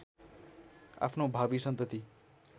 आफ्नो भावी सन्तति